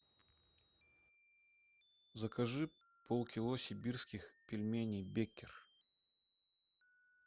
закажи полкило сибирских пельменей беккер